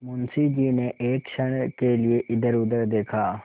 मुंशी जी ने एक क्षण के लिए इधरउधर देखा